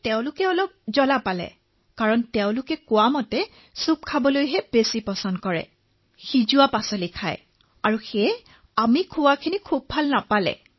তেওঁলোকে অলপ জ্বলা পালে কিয়নো তেওঁলোকে চুপ খাই অধিক ভাল পায় বুলি কলে তেওঁলোকে সিজোৱা পাচলি খাই ভাল পায় বাবে এনে ধৰণৰ খাদ্য তেওঁলোকে অধিক খাই ভাল নাপালে